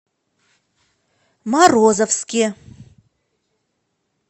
морозовске